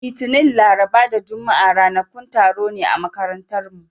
Litinin, Laraba da Juma'a ranakun taro ne a makarantarmu.